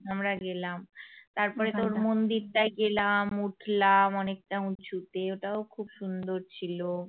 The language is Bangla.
আমরা গেলাম তারপরে তোর মন্দিরটায় গেলাম উঠলাম অনেকটা উচুঁতে ওটাও খুব সুন্দর ছিল